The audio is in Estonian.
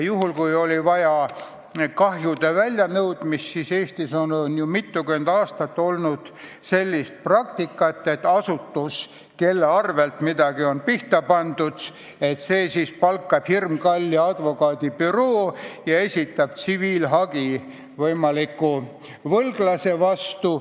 Kui on vaja olnud kahju välja nõuda, siis Eestis on mitukümmend aastat olnud selline praktika, et asutus, kelle arvelt on midagi pihta pandud, palkab hirmkalli advokaadibüroo ja esitab tsiviilhagi süüdlase või võlglase vastu.